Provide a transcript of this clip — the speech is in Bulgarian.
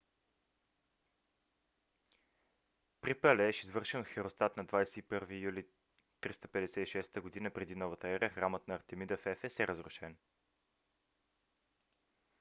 при палеж извършен от херострат на 21 юли 356 г.пр.н.е. храмът на артемида в ефес е разрушен